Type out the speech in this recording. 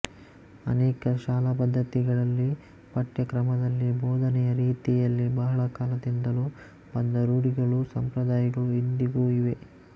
ಅನೇಕ ಶಾಲಾಪದ್ಧತಿಗಳಲ್ಲಿ ಪಠ್ಯಕ್ರಮದಲ್ಲಿ ಬೋಧನೆಯ ರೀತಿಯಲ್ಲಿ ಬಹಳ ಕಾಲದಿಂದಲೂ ಬಂದ ರೂಢಿಗಳು ಸಂಪ್ರದಾಯಗಳು ಇಂದಿಗೂ ಇವೆ